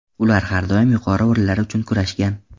Ular har doim yuqori o‘rinlar uchun kurashgan.